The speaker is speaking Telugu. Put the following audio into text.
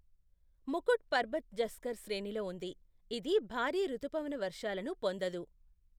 ముకుట్ పర్బత్ జస్కర్ శ్రేణిలో ఉంది, ఇది భారీ రుతుపవన వర్షాలను పొందదు.